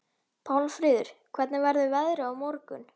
Pálmfríður, hvernig verður veðrið á morgun?